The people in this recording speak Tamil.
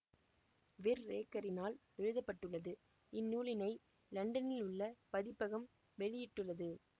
விற்ரேக்கரினால் எழுத பட்டுள்ளது இந்நூலினை இலண்டனில் உள்ள பதிப்பகம் வெளியிட்டுள்ளது